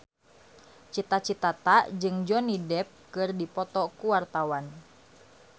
Cita Citata jeung Johnny Depp keur dipoto ku wartawan